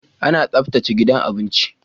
Ana tsaftace gidan abinci